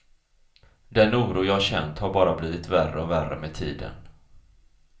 Den oro jag känt har bara blivit värre och värre med tiden.